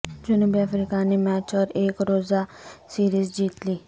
جنوبی افریقہ نے میچ اور ایک روزہ سیریز جیت لی